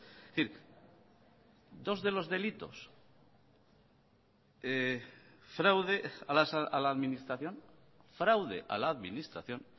es decir dos de los delitos fraude a la administración fraude a la administración